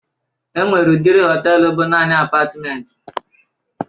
E nwere udiri họtelu bụ naanị apatmenti